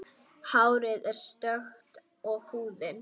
Hárið er stökkt og húðin.